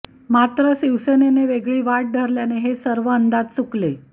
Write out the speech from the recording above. मात्र शिवसेनेनं वेगळी वाट धरल्याने हे सर्व अंदाज चुकले